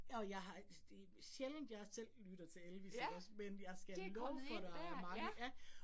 Og jeg har det sjældent, jeg selv lytter til Elvis ikke også, men jeg skal love for, der er mange ja